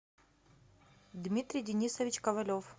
дмитрий денисович ковалев